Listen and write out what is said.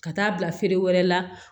Ka taa bila feere wɛrɛ la